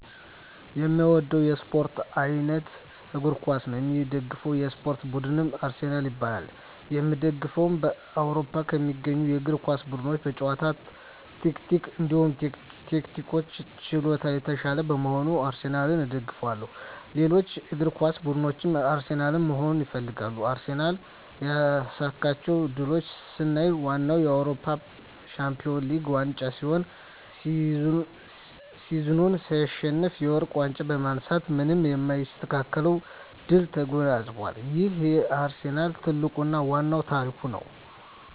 የእምወደዉ የእስፖርት አይነት እግር ኳስ ነዉ። የምደግፈዉ የእስፖርት ቡድንም አርሰናል ይባላል። የእምደግፈዉም በአዉሮፖ ከሚገኙ የእግር ኳስ ቡድኖች በጨዋታ ታክቲክ እንዲሁም ቴክኒክና ችሎታ የታሻለ በመሆኑ አርሰናልን እደግፋለሁ። ሌሎች እግር ኳስ ብድኖች አርሰናልን መሆን ይፈልጋሉ። አርሰናል ያሳካቸዉ ድሎች ስናይ ዋነኛዉ የአዉሮፖ ሻንፒወንስ ሊግ ዋንጫ ሲሆን ሲዝኑን ሳይሸነፍ የወርቅ ዋንጫ በማንሳት ማንም የማይስተካከለዉን ድል ተጎናፅፋል ይሄም የአርሰናል ትልቁና ዋናዉ ታሪክ ነዉ።